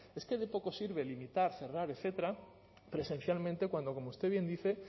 es que de poco sirve limitar cerrar etcétera presencialmente cuando como usted bien dice